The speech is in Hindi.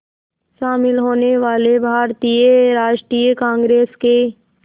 शामिल होने वाले भारतीय राष्ट्रीय कांग्रेस के